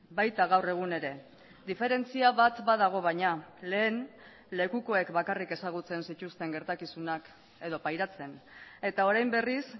baita gaur egun ere diferentzia bat badago baina lehen lekukoek bakarrik ezagutzen zituzten gertakizunak edo pairatzen eta orain berriz